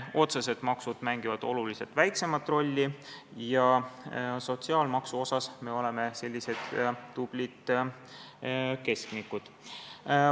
Otsesed maksud mängivad oluliselt väiksemat rolli ja sotsiaalmaksu poolest oleme sellised tublid keskmikud.